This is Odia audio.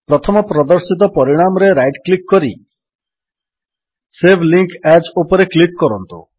ପ୍ରଥମ ପ୍ରଦର୍ଶିତ ପରିଣାମରେ ରାଇଟ୍ କ୍ଲିକ୍ କରି ସେଭ୍ ଲିଙ୍କ ଏଏସ୍ ଉପରେ କ୍ଲିକ୍ କରନ୍ତୁ